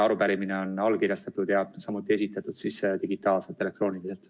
Arupärimine on allkirjastatud ja esitatud digitaalselt, elektrooniliselt.